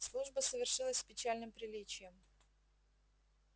служба совершилась с печальным приличием